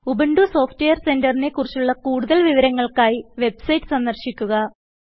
Ubuntu software സെന്ററിനെ കുറിച്ചുള്ള കൂടുതൽ വിവരങ്ങൾക്കായി വെബ്സൈറ്റ് സന്ദർശിക്കുക